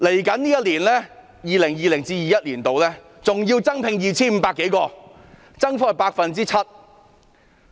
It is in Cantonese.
在 2020-2021 年度，還會增聘 2,500 多人，增幅達 7%。